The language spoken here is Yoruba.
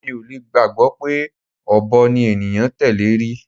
Mi ò lè gbàgbọ́ pé ọ̀bọ ni ènìyàn tẹ́lẹ̀ rí.